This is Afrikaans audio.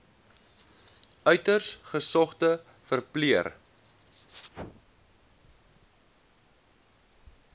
uiters gesogde verpleër